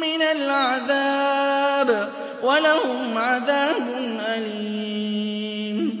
مِّنَ الْعَذَابِ ۖ وَلَهُمْ عَذَابٌ أَلِيمٌ